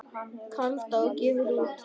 Kaldá gefur út.